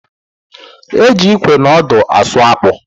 E ji ịkwe na ọdụ asụ akpụ